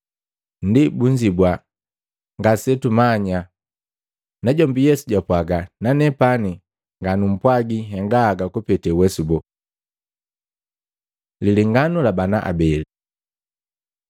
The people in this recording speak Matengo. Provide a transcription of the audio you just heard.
Ndi bunzibua, “Ngasetumanya!” Najombi Yesu jwapwaga, “Nanepani nganumpwagi nhenga haga kupete uwesu boo.” Lilenganu la bana abeli